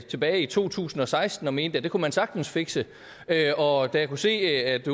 tilbage i to tusind og seksten og mente at det kunne man sagtens fikse og da jeg kunne se at